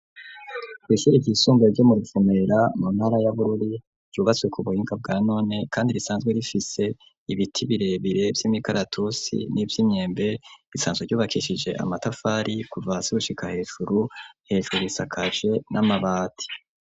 Ni ishure ryisumbuye ryo mu Ruvumera mu ntara ya Bururi ryubatswe ku buhinga bwa none kandi risanzwe rifise ibiti birebire vy'imikaratusi n'ivy'imyembe, risanzwe ryubakishije amatafari kuva hasi gushika hejuru, hejuru risakaje n'amabati.